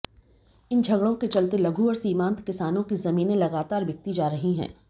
इन झगड़ों के चलते लघु और सीमांत किसानों की जमींने लगातार बिकती जा रही हैं